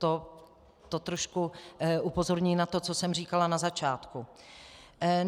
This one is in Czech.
To trošku upozorní na to, co jsem říkala na začátku.